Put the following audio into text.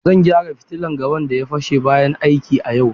Zan gyara fitilan gaban da ya fashe bayan aiki a yau.